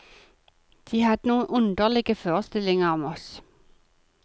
De hadde noen underlige forestillinger om oss.